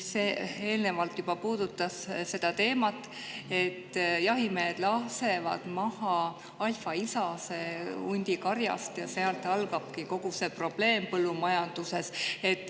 Eelnevalt juba puudutati seda teemat, et jahimehed lasevad hundikarjast maha alfaisase ja sealt algabki kogu see probleem põllumajanduses.